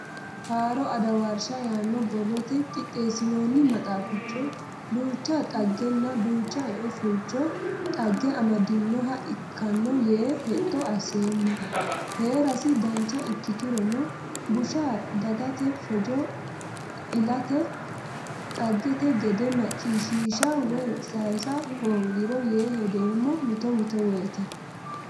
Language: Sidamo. Haaro adawarsha yaano borrote qixeesinonni maxaafichi duucha dhaggenna duucha ea fulcho dagaha amadinoha ikkano yee hexxo asseemmo heerasi dancha ikkiturono busha dagate fojo ilate dhagete gede macciishshisha woyi sayisa hoongiro yee hedeemmo mitto mitto woyte.